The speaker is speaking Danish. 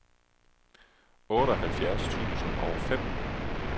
otteoghalvfjerds tusind og fem